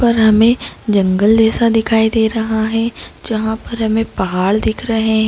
पर हमें जंगल जैसा दिखाई दे रहा है जहाँ पर हमें पहाड़ दिख रहे है।